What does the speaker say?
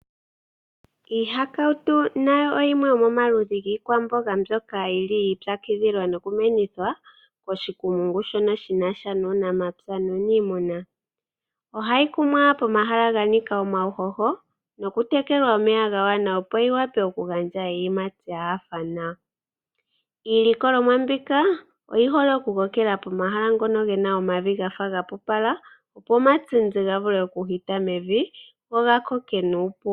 Koshikumungu shuunamapya nuunimuna aantu oyiitsa kidhila nokukuna iihakawutu, ndjoka hayi kunwa pomavi ganika uuhoho nokutelekelwa omeya gagwana nawa opo yivule oku gandja iiyimati yanyanyukwa nawa. Iilikolomwa mbika oha yi ko kele pomavi ngoka gaapupala opo omatindi ga vule okuhita mevi nokukoka nuupu.